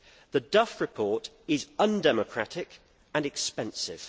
The Duff report is undemocratic and expensive.